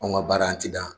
Anw ka baara an ti dan